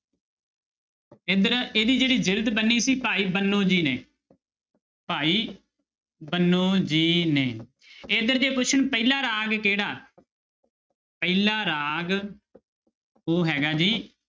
ਇੱਧਰ ਇਹਦੀ ਜਿਹੜੀ ਜਿਲਦ ਬੰਨੀ ਸੀ ਭਾਈ ਬੰਨੋ ਜੀ ਨੇ ਭਾਈ ਬੰਨੋ ਜੀ ਨੇ ਇੱਧਰ ਜੇ ਪੁੱਛਣ ਪਹਿਲਾ ਰਾਗ ਕਿਹੜਾ ਪਹਿਲਾ ਰਾਗ ਉਹ ਹੈਗਾ ਜੀ